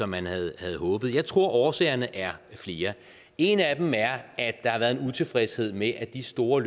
man havde håbet jeg tror årsagerne er flere en af dem er at der har været en utilfredshed med at de store